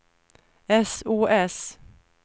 sos